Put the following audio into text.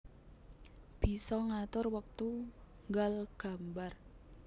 Bisa ngatur wektu nggal gambar